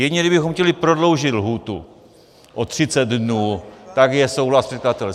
Jedině kdybychom chtěli prodloužit lhůtu o 30 dnů, tak je souhlas předkladatele.